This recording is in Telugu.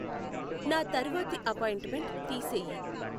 నా తర్వాతి అపాయింట్మెంట్ తీసేయి